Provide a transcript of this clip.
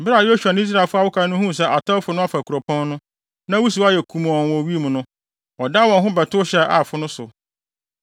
Bere a Yosua ne Israelfo a wɔaka no huu sɛ atɛwfo no afa kuropɔn no, na wusiw ayɛ kumɔnn wɔ wim no, wɔdan wɔn ho bɛtow hyɛɛ Aifo no so.